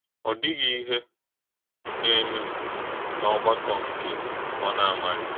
Ọ̀ dị̀ghì íhè na-èmè n’ọ́gbàkọ̀ nkè ọ na-amàghì.